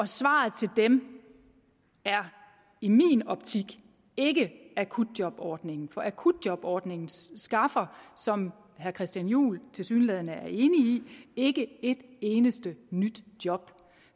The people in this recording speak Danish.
svaret til dem er i min optik ikke akutjobordningen for akutjobordningen skaffer som herre christian juhl tilsyneladende er enig i ikke et eneste nyt job